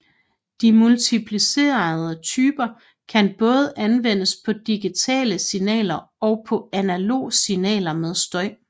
De multiplicerende typer kan både anvendes på digitale signaler og på analoge signaler med støj